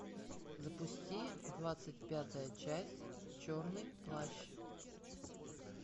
запусти двадцать пятая часть черный плащ